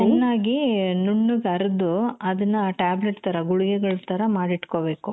ಚೆನ್ನಾಗಿ ನುಣ್ಣಗೆ ಅರ್ದು ಅದನ್ನ tablet ತರ ಗುಳಿಗೆಗಳ್ ತರ ಮಾಡಿಟ್ಕೋಬೇಕು.